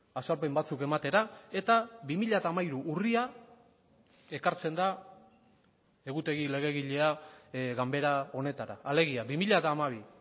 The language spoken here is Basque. azalpen batzuk ematera eta bi mila hamairu urria ekartzen da egutegi legegilea ganbera honetara alegia bi mila hamabi